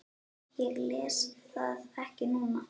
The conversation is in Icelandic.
Ég les það ekki núna.